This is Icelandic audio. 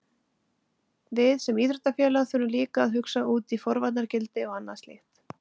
Við sem íþróttafélag þurfum líka að hugsa út í forvarnargildi og annað slíkt.